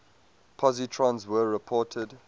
positrons were reported